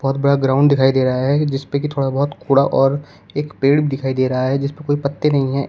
बड़ा ग्राउंड दिखाई दे रहा है जिसपे की थोड़ा बहोत कूड़ा और एक पेड़ दिखाई दे रहा है जिसपे कोई पत्ते नहीं है।